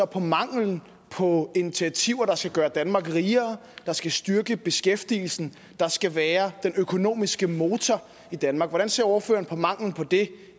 på manglen på initiativer der skal gøre danmark rigere der skal styrke beskæftigelsen der skal være den økonomiske motor i danmark hvordan ser ordføreren på manglen på det